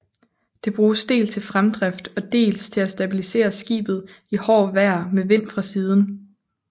Det bruges dels til fremdrift og dels til at stabilisere skibet i hårdt vejr med vind fra siden